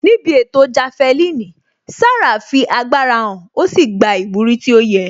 Níbi ètò jafelini, Sarah fi agbára hàn ó sì gba ìwúrí tó yẹ